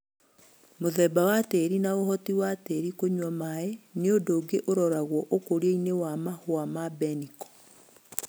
Mũthemba wa tĩri na ũhoti wa tĩri kũnywa maĩ nĩundu ũngĩ wa ũroragwa ũkũriainĩ wa Mahũa ma mbeniko